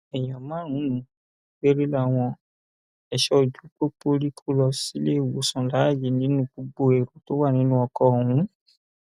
èèyàn márùnún péré làwọn ẹṣọ ojú pópó rí kó lọ síléìwòsàn láàyè nínú gbogbo èrò tó wà nínú ọkọ ọhún